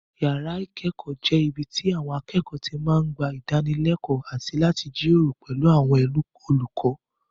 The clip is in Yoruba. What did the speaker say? Yàrá ìkẹ́kọ̀ọ́ jẹ́ ibi tí àwọn akẹ́kọ̀ọ́ ti lọ ń gba ìdánilẹ́kọ̀ọ́ àti láti jíròrò pẹ̀lú àwọn olùkọ́